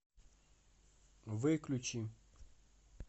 выключи